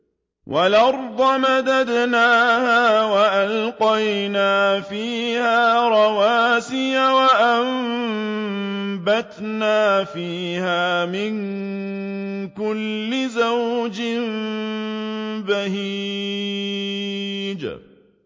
وَالْأَرْضَ مَدَدْنَاهَا وَأَلْقَيْنَا فِيهَا رَوَاسِيَ وَأَنبَتْنَا فِيهَا مِن كُلِّ زَوْجٍ بَهِيجٍ